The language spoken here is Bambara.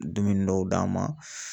Dumuni dɔw d'a ma.